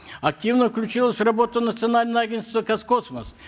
активно включилось в работу национальное агентство казкосмос